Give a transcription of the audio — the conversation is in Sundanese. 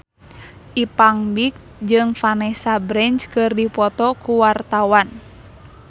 Ipank BIP jeung Vanessa Branch keur dipoto ku wartawan